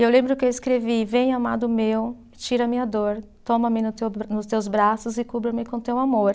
E eu lembro que eu escrevi, vem amado meu, tira minha dor, toma-me no teu bra, nos teus braços e cubra-me com teu amor.